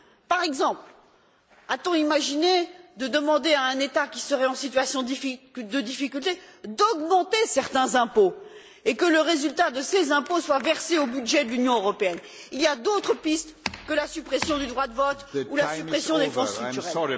Par exemple, a t on imaginé de demander à un État qui serait en situation de difficulté d'augmenter certains impôts, et que le résultat de ces impôts soit versé au budget de l'Union européenne? Il y a d'autres pistes que la suppression du droit de vote ou la suppression des fonds structurels.